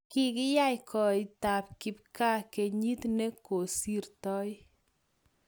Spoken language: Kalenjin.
kikiyei koitab kipgaa kenyit ne kosirtoi